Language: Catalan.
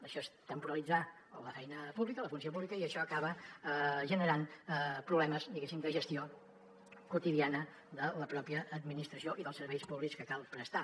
això és temporalitzar la feina pública la funció pública i això acaba generant problemes diguéssim de gestió quotidiana de la pròpia administració i dels serveis públics que cal prestar